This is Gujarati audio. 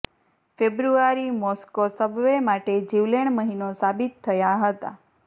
ફેબ્રુઆરી મોસ્કો સબવે માટે જીવલેણ મહિનો સાબિત થયા હતા